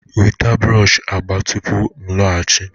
Weta brush agba tupu m laghachi